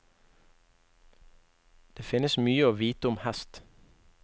Det finnes mye å vite om hest.